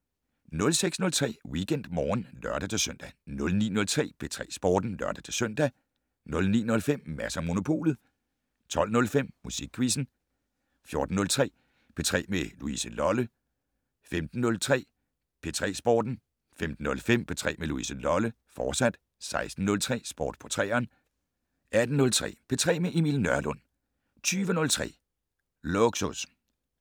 06:03: WeekendMorgen (lør-søn) 09:03: P3 Sporten (lør-søn) 09:05: Mads & Monopolet 12:05: Musikquizzen 14:03: P3 med Louise Lolle 15:03: P3 Sporten 15:05: P3 med Louise Lolle, fortsat 16:03: Sport på 3'eren 18:03: P3 med Emil Nørlund 20:03: Lågsus